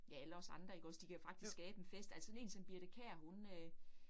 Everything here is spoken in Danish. Ja alle os andre ikke også, de kan faktisk skabe en fest altså sådan én som Birthe Kjær hun øh